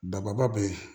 Dababa bɛ ye